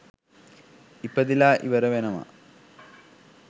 ඉපදිලා ඉවර වෙනවා.